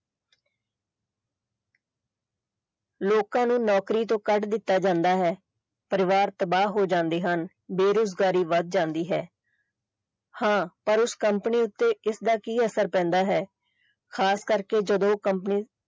ਲੋਕਾਂ ਨੂੰ ਨੌਕਰੀ ਤੋਂ ਕੱਢ ਦਿੱਤਾ ਜਾਂਦਾ ਹੈ ਪਰਿਵਾਰ ਤਬਾਹ ਹੋ ਜਾਂਦੇ ਹਨ ਬੇਰੁਜ਼ਗਾਰੀ ਵੱਧ ਜਾਂਦੀ ਹੈ ਹਾਂ ਪਰ ਉਸ company ਉੱਤੇ ਇਸਦਾ ਕੀ ਅਸਰ ਪੈਂਦਾ ਹੈ ਖਾਸਕਰ ਕੇ ਜਦੋਂ company